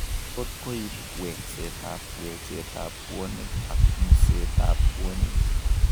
Tot koiib wekseetab wecheetab bwonik ak museetab bwonik